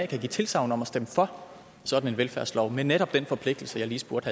kan give tilsagn om at stemme for sådan en velfærdslov med netop den forpligtelse jeg lige spurgte